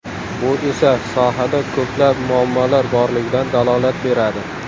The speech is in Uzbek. Bu esa sohada ko‘plab muammolar borligidan dalolat beradi.